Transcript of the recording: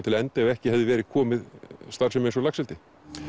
til enda ef ekki hefði komið inn starfsemi eins og laxeldi